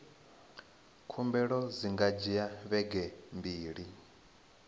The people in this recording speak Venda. khumbelo dzi nga dzhia vhege mbili